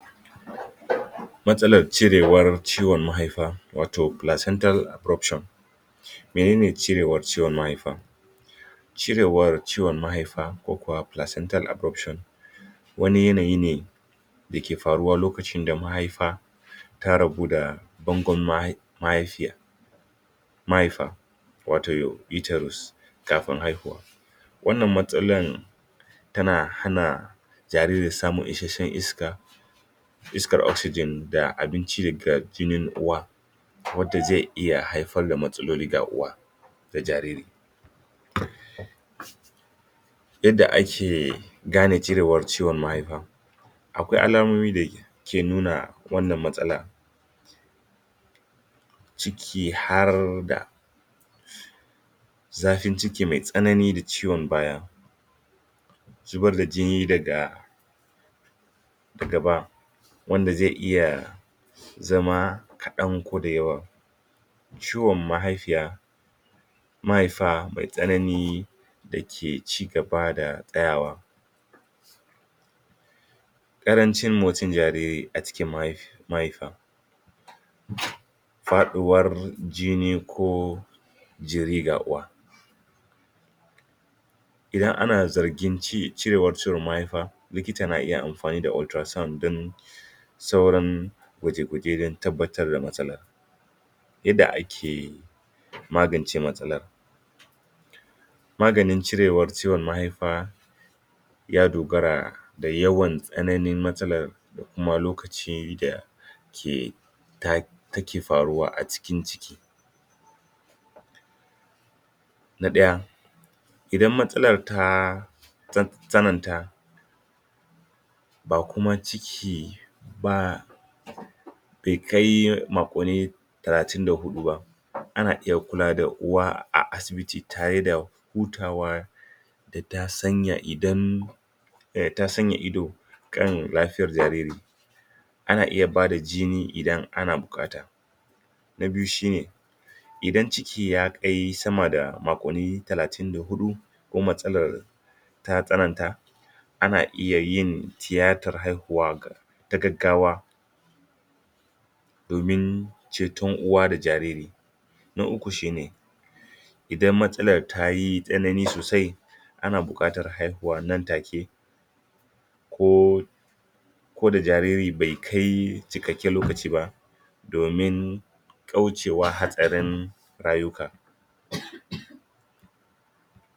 matsalar cirewar ciwon mahaifa wato placental abruption menene cirewar ciwon mahaifa cirewar ciwon mahaifa ko kuwa plancental abruption wani yanayi ne dake faruwa lokacin da mahaifa ta rabu da bangon mahaifiya mahaifa wato uterus kafin haihuwa wannan matsalan tana hana jariri samun ishesshen iska iskar oxygen da abinci ga jinin uwa wanda zai iya haifar da matsaloli ga uwa da jariri yadda ake gane jirewar ciwon mahaifa akwai alamomi da ke nuna wannan matsala ciki har da zafin ciki mai tsanani da ciwon baya zubar da jini daga gaba wanda zai iya zama kadan ko da yawa ciwon mahai fiya mahifa mai tsanani dake ci gaba da tsayawa karancin motsin jariri a cikin mahaifa faduwar jini ko jiri ga uwa idan ana zargin cirewar ciwon mahaifar likita na iya amfanida ultra sound don sauran kwaje kwaje don tabbatar da matsala yadda ake magance matsalar maganin ciwon cirewar mahaifa ya dogara da yawan tsananin matsalar da kuma lokacida ke take faruwa a cikin ciki na daya idan matsakar ta tsananta ba kuma ciki bah bai kai makonni talatin fa hudu ba ana iya kulawa da uwa a asibiti tare da hutawa da ta sanya idan ta sanya ido kan lafiyar jariri ana iya bada jini idan ana bukata na biyu shine idan ciki ya kai sama da makonni talatin da hudu ko matsalar ta tsananta ana iya yin tiyatar haihuwa ta gaggawa domin ceton uwa da jariri na ukku shine idan matsalar tayi tsanani sosai ana bukatar haihuwa nan take ko ko da jariri bai kai cikakken lokaci ba domin kaucewa hatsarin rayuka